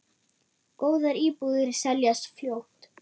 Góðar íbúðir seljast fljótt.